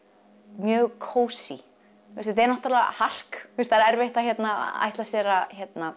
mjög kósý þetta er náttúrulega hark það er erfitt að ætla sér að